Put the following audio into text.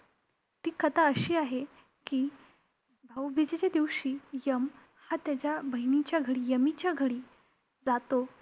ती कथा अशी आहे की, भाऊबीजेच्या दिवशी यम हा त्याच्या बहिणीच्या घरी, यमीच्या घरी जातो.